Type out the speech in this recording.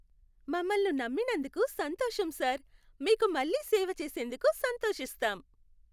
మమ్మల్ని నమ్మినందుకు సంతోషం సార్. మీకు మళ్ళీ సేవ చేసేందుకు సంతోషిస్తాం.